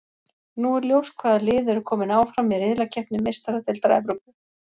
Nú er ljóst hvaða lið eru kominn áfram í riðlakeppni Meistaradeildar Evrópu.